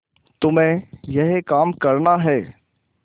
तुम्हें यह काम करना है